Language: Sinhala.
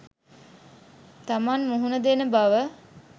තමන් මුහුණ දෙන බව